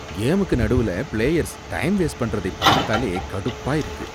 கேமுக்கு நடுவுல players time waste பண்றதைப் பாத்தாலே கடுப்பா இருக்கு.